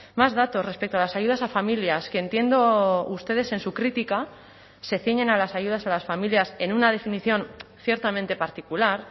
más datos respecto a las ayudas a familias que entiendo ustedes en su crítica se ciñen a las ayudas a las familias en una definición ciertamente particular